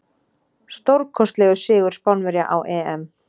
Stórkostlegur sigur Spánverja á EM.